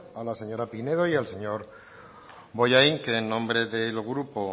a la señora pinedo y al señor bollain que en nombre del grupo